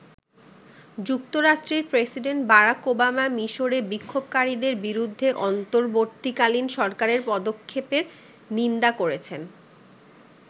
যুক্তরাষ্ট্রের president Barack Obama মিশরে বিক্ষোভকারীদের বিরুদ্ধে অন্তবর্তীকালীন সরকারের পদক্ষেপের নিন্দা করেছেন।